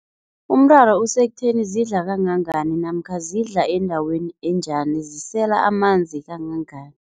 Umraro usekutheni zidla kangangani namkha zidla endaweni enjani, zisela amanzi kangangani.